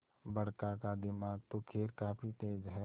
बड़का का दिमाग तो खैर काफी तेज है